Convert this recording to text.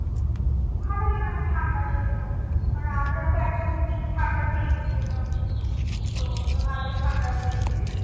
ভালই মানে ঠান্ডা ছিল আর আমরা তো একদম peak ঠান্ডাতেই গিয়েছিলাম তো আমরা ভালই ঠান্ডা পেয়েছি